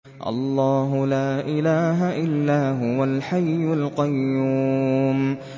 اللَّهُ لَا إِلَٰهَ إِلَّا هُوَ الْحَيُّ الْقَيُّومُ